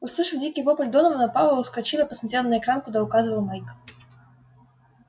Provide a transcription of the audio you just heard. услышав дикий вопль донована пауэлл вскочил и посмотрел на экран куда указывал майк